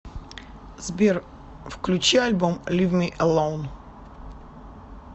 сбер включи альбом лив ми элоун